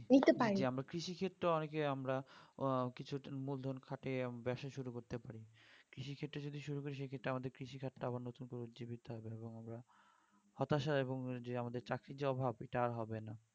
জি আমরা কৃষি ক্ষেত্রেও অনেকে আমরা হম কিছু মূলধন খাটিয়ে ব্যবসা শুরু করতে পারি কৃষিক্ষেত্রে যদি শুরু করি সেক্ষেত্রে আমাদের কৃষি খাত টা আবার নতুন করে উজ্জীবিত হবে এবং হতাশা এবং আমাদের যে চাকরির যে অভাব এটা আর হবে না